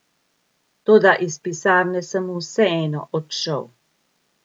Toda iz pisarne sem vseeno odšel.